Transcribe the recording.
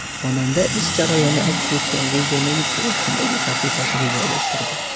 Xonanda ish jarayoni aks etgan videoni Instagram’dagi sahifasiga joylashtirdi.